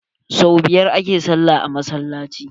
Sau biyar a ke sallah a masallaci.